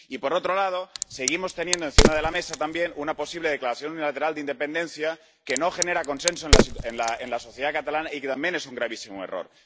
Y, por otro lado, seguimos teniendo encima de la mesa también una posible declaración unilateral de independencia que no genera consenso en la sociedad catalana y que también es un gravísimo error.